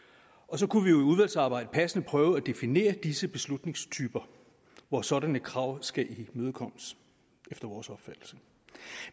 så kunne vi jo i udvalgsarbejdet passende prøve at definere disse beslutningstyper hvor sådanne krav skal imødekommes efter vores opfattelse